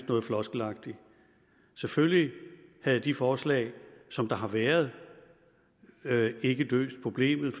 noget floskelagtigt selvfølgelig havde de forslag som der har været ikke løst problemet